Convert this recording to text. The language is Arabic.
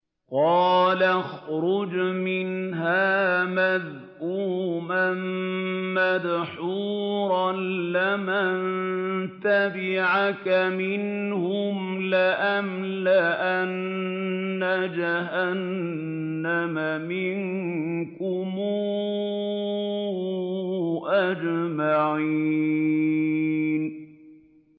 قَالَ اخْرُجْ مِنْهَا مَذْءُومًا مَّدْحُورًا ۖ لَّمَن تَبِعَكَ مِنْهُمْ لَأَمْلَأَنَّ جَهَنَّمَ مِنكُمْ أَجْمَعِينَ